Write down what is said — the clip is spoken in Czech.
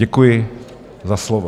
Děkuji za slovo.